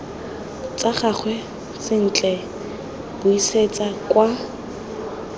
tsa gagwe sentle buisetsa kwa